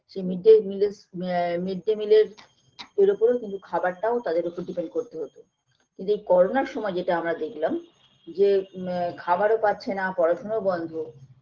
যে mid day meal -স আ mid day meal -এর ওপরেও খাবারটাও কিন্তু depend করতে হতো কিন্তু এই করোনার সময় যেটা আমরা দেখলাম যে আ খাবারও পাচ্ছেনা পড়াশোনাও বন্ধ